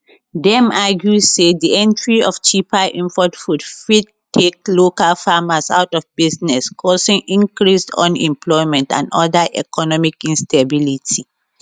dem argue say di entry of cheaper import food fit take local farmers out of business causing increased unemployment and oda economic instability